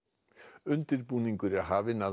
undirbúningur er hafinn að